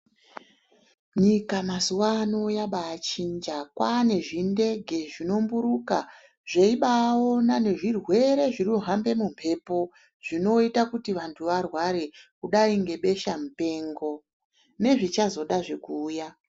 Nyika mazuwaano yabaachinja kwaane zvindege zvinomburuka zveibaona nezvirwere zvinohambe mumbepo zvinoita kuti vanthu varware kudai ngebesha mupengo nezvichazodazve kuuya.